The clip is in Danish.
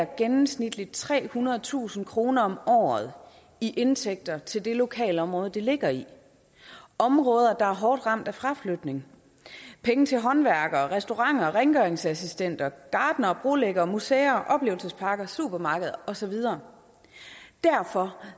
gennemsnitligt trehundredetusind kroner om året i indtægter til det lokalområde det ligger i områder der er hårdt ramt af fraflytning penge til håndværkere restauranter rengøringsassistenter gartnere brolæggere museer oplevelsesparker supermarkeder og så videre derfor